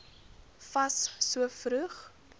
fas so vroeg